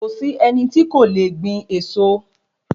Kòsí ẹni tí kò le gbìn eso